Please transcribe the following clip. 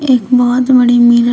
एक बहोत बड़ी मिरर --